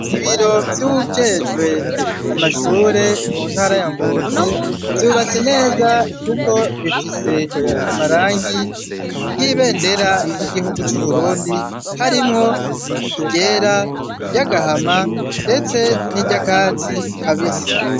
Ibiro vy'uwujejwe amashure mu ntara ya Ngozi vyubatse neza kuko bifise amarangi y'ibendera ry'igihugu c'Uburundi harimwo iryera, iry'agahama ndetse n'iryakatsi kabisi.